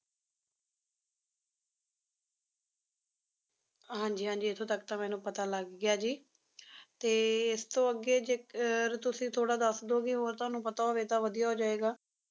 ਹਾਂਜੀ ਹਾਂਜੀ ਇੱਥੋਂ ਤੱਕ ਤਾਂ ਮੈਨੂੰ ਪਤਾ ਲੱਗ ਗਿਆ ਜੀ ਤੇ ਇਸਤੋਂ ਅੱਗੇ ਜੇਕਰ ਤੁਸੀ ਥੋੜਾ ਦੱਸ ਦਿਓਂਗੇ ਹੋਰ ਤੁਹਾਨੂੰ ਪਤਾ ਹੋਵੇ ਤਾਂ ਵਧੀਆ ਹੋ ਜਾਏਗਾ